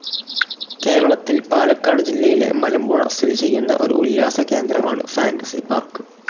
കേരളത്തിൽ പാലക്കാട് ജില്ലയിലെ മലമ്പുഴ സ്ഥിതി ചെയ്യുന്ന ഒരു ഉല്ലാസകേന്ദ്രമാണ് ഫാന്റസി പാർക്ക്.